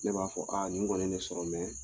Ne b'a fɔ aa nin kɔni ye sɔrɔ